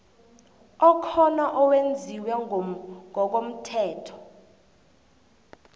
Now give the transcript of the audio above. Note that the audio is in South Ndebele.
okhona owenziwe ngokomthetho